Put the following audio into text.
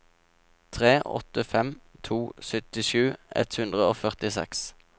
tre åtte fem to syttisju ett hundre og førtiseks